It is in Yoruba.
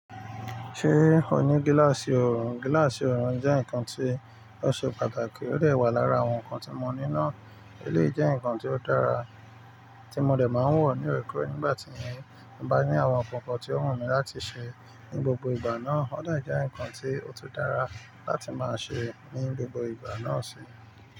Ṣé o ní gíláàsì ọrùn? Gíláàsì ọrùn jẹ́ nǹkan tí ó ṣe pàtàkì, ó lè wà lára àwọn nǹkan tí mo ní náà. Eléyìí jẹ́ nǹkan tí ó dára tí mo dè máa ń wọ̀ ní ò rè kórè nígbà tí mo bá ní àwọn kọ̀kọ̀ tí ó wù mí láti ṣe ní gbogbo ìgbà náà. Ó dà jẹ́ nǹkan tí ó tó dára láti máa ṣe ní gbogbo ìgbà náà sì.